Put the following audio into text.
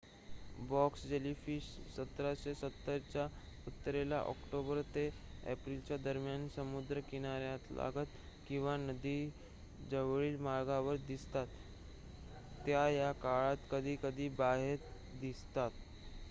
Box jellyfish १७७० च्या उत्तरेला October ते एप्रिलच्या दरम्यान समुद्र किनाऱ्यालागत किंवा नदीजवळील मार्गावर दिसतात. त्या या काळात कधीकधी बाहेत दिसतात